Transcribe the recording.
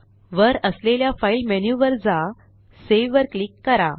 वर असलेल्या file menu वर जा सावे वर क्लिक करा